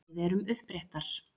Við erum uppréttar.